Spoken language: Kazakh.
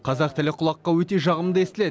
қазақ тілі құлаққа өте жағымды естіледі